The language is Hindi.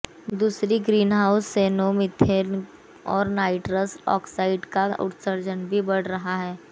दूसरी ग्रीनहाउस गैसों मीथेन और नाइट्रस ऑक्साइड का उत्सर्जन भी बढ़ा है